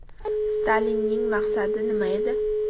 Stalinning maqsadi nima edi?